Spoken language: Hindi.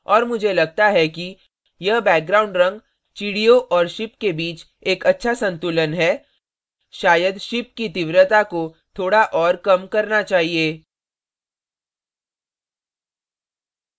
और मुझे लगता है कि यह background रंग चिड़ियों और ship के bit एक अच्छा संतुलन है शायद ship की तीव्रता को थोड़ा और कम करना चाहिए